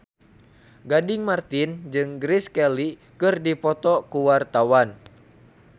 Gading Marten jeung Grace Kelly keur dipoto ku wartawan